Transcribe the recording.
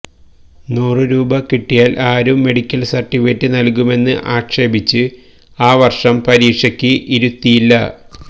നൂറ് രൂപ കിട്ടിയാല് ആരും മെഡിക്കല് സര്ട്ടിഫിക്കറ്റ് നല്കുമെന്ന് ആക്ഷേപിച്ച് ആ വര്ഷം പരീക്ഷയ്ക്ക് ഇരുത്തിയില്ല